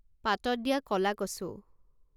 পাতত দিয়া ক'লা কচু